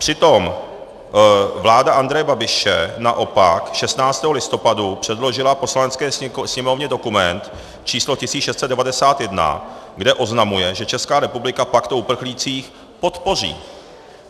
Přitom vláda Andreje Babiše naopak 16. listopadu předložila Poslanecké sněmovně dokument č. 1691, kde oznamuje, že Česká republika pakt o uprchlících podpoří.